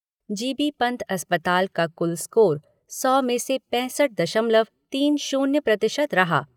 जी बी पन्त अस्पताल का कुल स्कोर सौ में से पैंसठ दशमलव तीन शून्य प्रतिशत रहा।